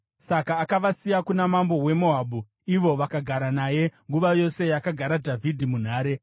Saka akavasiya kuna mambo weMoabhu, ivo vakagara naye nguva yose yakagara Dhavhidhi munhare.